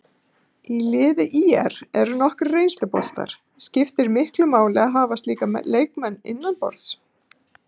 Í liði ÍR eru nokkrir reynsluboltar, skiptir miklu máli að hafa slíka leikmenn innanborðs?